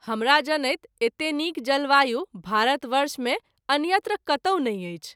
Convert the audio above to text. हमरा जनैत एतेक नीक जलवायु भारत वर्ष मे अन्यत्र कतौ नहिं अछि।